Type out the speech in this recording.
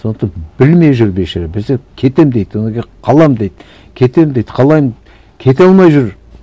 сондықтан білмей жүр бейшара біресе кетемін дейді одан кейін қаламын дейді кетемін дейді кете алмай жүр